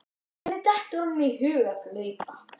Hvernig dettur honum í hug að flauta?